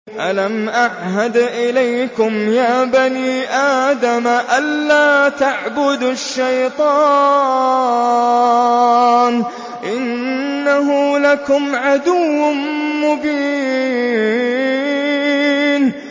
۞ أَلَمْ أَعْهَدْ إِلَيْكُمْ يَا بَنِي آدَمَ أَن لَّا تَعْبُدُوا الشَّيْطَانَ ۖ إِنَّهُ لَكُمْ عَدُوٌّ مُّبِينٌ